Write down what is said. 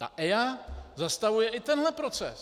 A EIA zastavuje i tenhle proces!